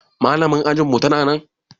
Malamar ajinmu tana nan?